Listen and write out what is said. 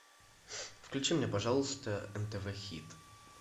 включи мне пожалуйста нтв хит